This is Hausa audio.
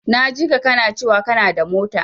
Na jika kana cewa kanada mota.